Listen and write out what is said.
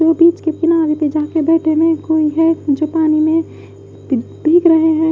बीच के किनारे जा के बैठे में कोई है जो पानी में भीग रहे हैं।